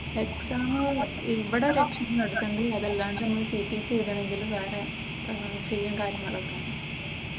Exam മ്മ് ഇവിടെ വെച്ച് നടത്തുന്നുണ്ട് അതല്ലാണ്ട് ഇനി സിപിസി എഴുതണം എങ്കിൽ വേറെ സെയിം കാര്യം നടക്കാം.